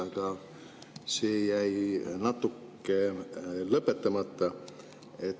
Aga see jäi natuke lõpetamata.